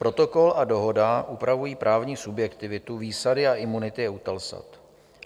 Protokol a Dohoda upravují právní subjektivitu, výsady a imunity EUTELSAT.